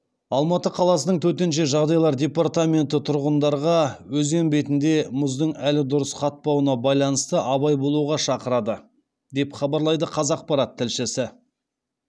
алматы қаласының төтенше жағдайлар департаменті тұрғындарға өзен бетінде мұздың әлі дұрыс қатпауына байланысты абай болуға шақырады деп хабарлайды қазақпарат тілшісі